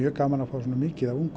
gaman að fá svona mikið af ungu